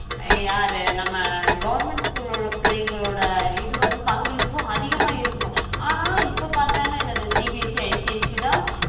யாரு நம்ம government school ல உள்ள பிள்ளைங்களோட இது வந்து பங்களிப்பு அதிகமா இருக்கும் ஆனா இப்ப பாத்தனா என்னது CBSC, ICIC தான்